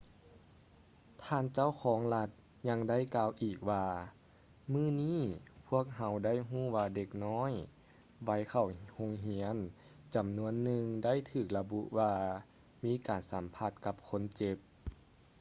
ທ່ານເຈົ້າຄອງລັດ ຍັງໄດ້ກ່າວອີກວ່າ ມື້ນີ້ ພວກເຮົາໄດ້ຮູ້ວ່າເດັກນ້ອຍໄວເຂົ້າໂຮງຮຽນຈຳນວນໜຶ່ງ ໄດ້ຖືກລະບຸວ່າມີການສຳຜັດກັບຄົນເຈັບ